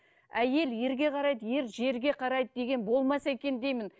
әйел ерге қарайды ер жерге қарайды деген болмаса екен деймін